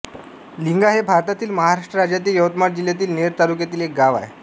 लिंगा हे भारतातील महाराष्ट्र राज्यातील यवतमाळ जिल्ह्यातील नेर तालुक्यातील एक गाव आहे